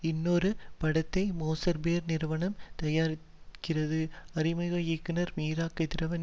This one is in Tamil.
இன்னொரு படத்தை மோசர் பேர் நிறுவனம் தயாரிக்கிறது அறிமுக இயக்குனர் மீரா கதிரவன்